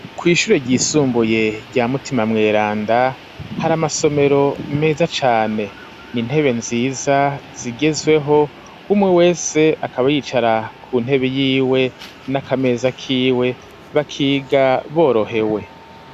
Kw'ishure ry'isumbuye rya mutima mweranda hari amasomero meza cane ni intebe nziza zigezweho umwe wese akaba yicara ku ntebe y'iwe n'akameza k'iwe bakiga borohewe.